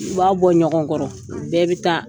U b'a bɔ ɲɔgɔn kɔrɔ u bɛɛ bɛ taa.